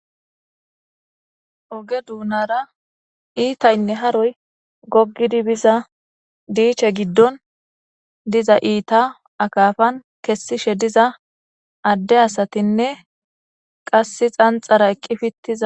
Ogge doonara iitaynne haroy gogidi biza dichche giddon de'iza iita akafan kessishe diza adde asattinne qase xanxaraeqqi fittiza